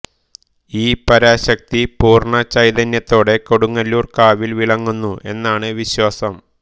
ഈ പരാശക്തി പൂർണ്ണ ചൈതന്യത്തോടെ കൊടുങ്ങല്ലൂർ കാവിൽ വിളങ്ങുന്നു എന്നാണ് വിശ്വാസം